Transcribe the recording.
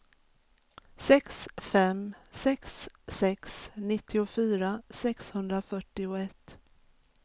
sex fem sex sex nittiofyra sexhundrafyrtioett